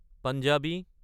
Punjabi